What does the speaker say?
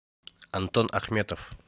антон ахметов